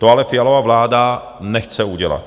To ale Fialova vláda nechce udělat.